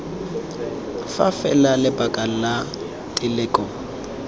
fa fela lebaka la teleko